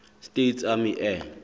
states army air